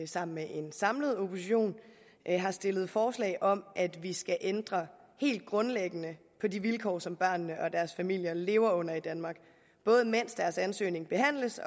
sammen med en samlet opposition har stillet forslag om at vi skal ændre helt grundlæggende på de vilkår som børnene og deres familier lever under i danmark både mens deres ansøgning behandles